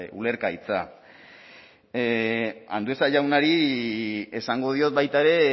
ulergaitza andueza jaunari esango diot baita ere